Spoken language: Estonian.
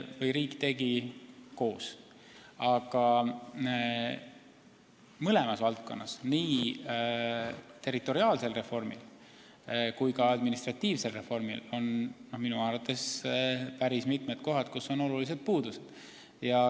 Riik tegi neid tegelikult koos, aga mõlemas valdkonnas, nii territoriaalse kui ka administratiivse reformi puhul, on minu arvates päris mitu kohta, kus on olulised puudused.